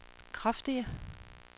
kraftige